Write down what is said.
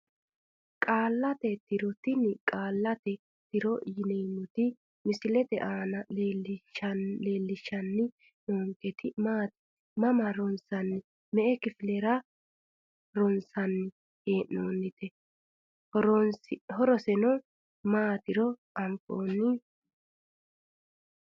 Qaallate tiro tini qaallate tiro yineemoti misilete aana leelishani noonketi maati mama ronsnite me`e kifilera ronsani heenonite horoseno maatiro afinooni?